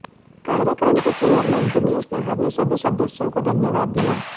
कार्यक्रम के चेयरमैन दिनेश नाहर ने सभी सदस्यों को धन्यवाद दिया